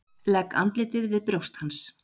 Legg andlitið við brjóst hans.